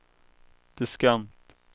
diskant